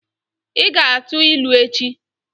Ị ga-atụ ilu echi!